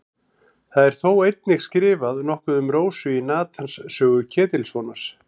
Það er þó einnig skrifað nokkuð um Rósu í Natans sögu Ketilssonar.